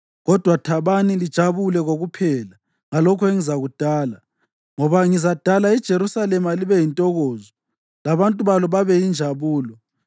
Kodwa thabani lijabule kokuphela ngalokho engizakudala, ngoba ngizadala iJerusalema libe yintokozo labantu balo babe yinjabulo.